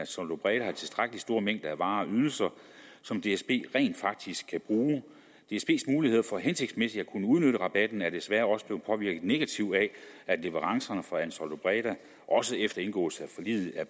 tilstrækkelig stor mængde af varer og ydelser som dsb rent faktisk kan bruge dsbs muligheder for hensigtsmæssigt at kunne udnytte rabatten er desværre også blevet påvirket negativt af at leverancerne fra ansaldobreda også efter indgåelse af forliget er